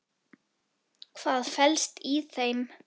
Hvað felst í þeim?